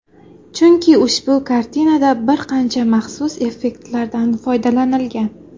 Chunki ushbu kartinada bir qancha maxsus effektlardan foydalanilgan.